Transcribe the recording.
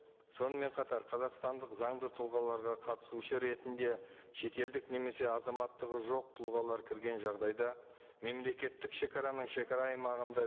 сонымен қатар қазақстандық заңды тұлғаларға қатысушы ретінде шетелдік немесе азаматтығы жоқ тұлғалар кірген жағдайда мемлекеттік шегараның шегара аймағында